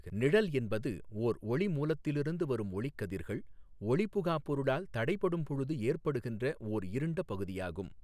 நிழல் என்பது ஓா் ஒளிமூலத்திலிருந்து வரும் ஒளிக்கதிா்கள் ஒளிபுகாப் பொருளால் தடைப்படும் பொழுது ஏற்படுகின்ற ஓா் இருண்ட பகுதியாகும்.